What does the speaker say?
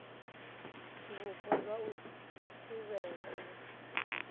vhupo zwa u thivhela u